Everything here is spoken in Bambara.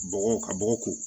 Bɔgɔ ka bɔgɔ ko